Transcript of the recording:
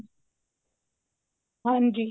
ਹਾਂਜੀ